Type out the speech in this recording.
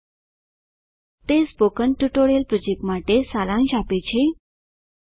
httpspoken tutorialorgWhat is a spoken tutorial તે spoken tutorial project માટે સારાંશ આપે છે